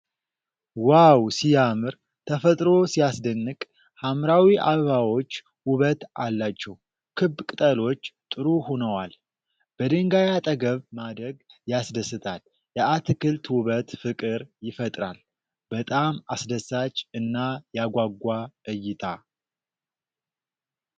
ዋው ሲያምር! ተፈጥሮ ሲያስደንቅ! ሐምራዊ አበባዎች ውበት አላቸው። ክብ ቅጠሎች ጥሩ ሆነዋል። በድንጋይ አጠገብ ማደግ ያስደስታል። የአትክልት ውበት ፍቅር ይፈጥራል። በጣም አስደሳች እና ያጓጓ እይታ።